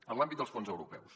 en l’àmbit dels fons europeus